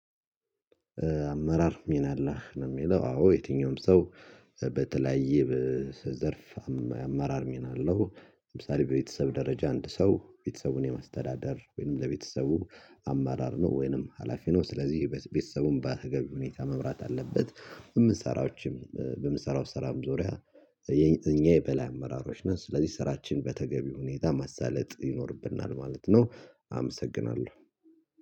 አመራር ሚና አለህ ነው የሚለው አዎ የትኛውም ሰው በተለያየ ዘርፍ አማራር ሚና አለው ለምሳሌ በቤተሰብ ደረጃ አንድ ሰው ቤተሰቡን የማስተዳደር ወይንም ለቤተሰቡ አማራር ነው ወይንም ሀላፊ ነው ስለዚህ ቤተሰቡን በተገቢ ሁኔታ መብራት አለበት። በሚሰራውም ሰራም ዙሪያ እኛ የበላ አመራሮች ነን ስለዚህ ስራችን በተገቢ ሁኔታ ማሳለጥ ይኖርብናል ማለት ነው። አመሰግናለሁ።